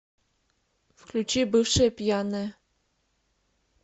включи бывшая пьяная